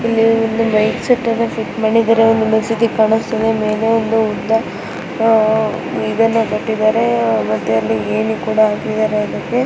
ಇಲ್ಲಿ ಒಂದು mic set ಅನ್ನ ಫಿಟ್ಟ್ ಮಾಡಿದರೆ ಒಂದ್ ಮಸೀದಿ ಕಾಣ್ಸ್ತ ಇದೆ ಮೇಲೆ ಒಂದು ಉದ್ದ ಆ-ಇದನ್ನ ಕಟ್ಟಿದರೆ ಮತ್ತೆ ಅಲ್ಲಿ ಏಣಿ ಕೂಡ ಆಕಿದರೆ ಅದಕ್ಕೆ.